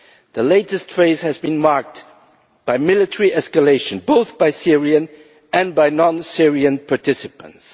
The latest phase has been marked by military escalation, both by Syrian and by non Syrian participants.